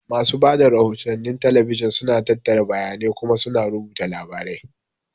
Masu ba da rahotannin talabijin suna tattara bayanai kuma suna rubuta labarai.